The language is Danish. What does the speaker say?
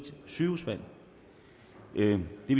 sygehusvalg det vil